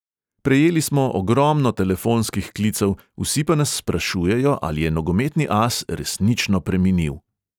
"Prejeli smo ogromno telefonskih klicev, vsi pa nas sprašujejo, ali je nogometni as resnično preminil."